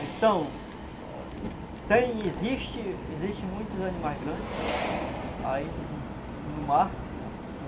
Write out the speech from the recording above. Então, tem existe existe muitos animais grandes aí no no mar.